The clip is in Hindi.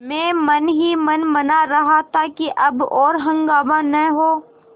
मैं मन ही मन मना रहा था कि अब और हंगामा न हो